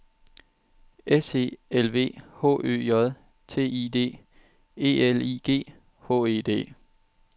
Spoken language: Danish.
S E L V H Ø J T I D E L I G H E D